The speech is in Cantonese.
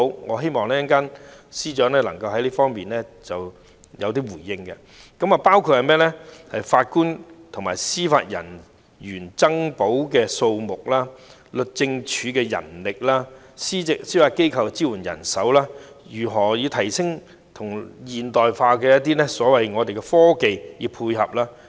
我希望稍後司長能夠對以下方面作出回應：法官及司法人員增補的數目、律政司的人力、司法機構的支援人手、如何以現代科技配合司法系統。